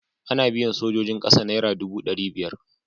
Ana biyan sojojin ƙasa naira dubu ɗari biyar.